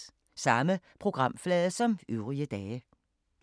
Samme programflade som øvrige dage